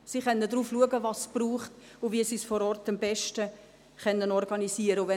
Sie können darauf schauen, was es braucht, und wie sie es vor Ort am besten organisieren können.